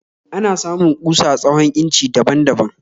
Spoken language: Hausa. Ana samun kusa tsawon inci daban baban